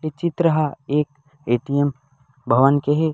ए चित्र ह एक ए टी एम भवन के हे।